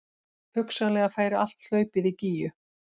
Hugsanlega færi allt hlaupið í Gígju